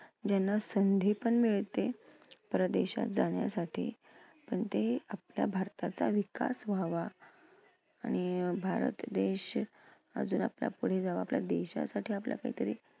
ज्यांना संधी पण मिळते परदेशात जाण्यासाठी पण ते आपल्या भारताचा विकास व्हावा आणि भारत देश पुढे जावा यासाठी आपला काहीतरी